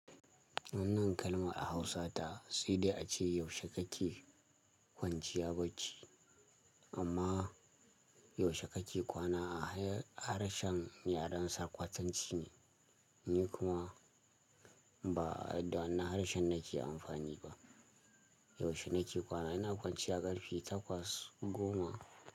Wannan kalma a Hausa ta sai dai ace yaushe kake kwanciya bacci. Amma yaushe kake kwana a harshen yaren saƙwatance ne. Ni kuma ba da wannan harshen nake amfani ba. Yaushe nake kwana? Ina kwanciya ƙarfe takwas goma.